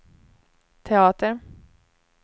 teater